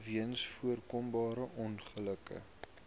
weens voorkombare ongelukke